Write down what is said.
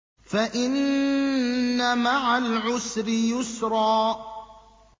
فَإِنَّ مَعَ الْعُسْرِ يُسْرًا